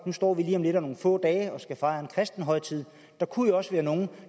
står vi lige om lidt om nogle få dage og skal fejre en kristen højtid der kunne jo også være nogle